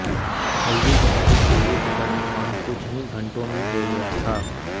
हल्दी घाटी के युद्ध का निर्णय कुछ ही घंटों में हो गया था